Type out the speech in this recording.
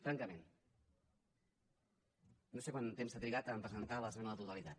francament no sé quant temps s’ha trigat a presentar l’esmena a la totalitat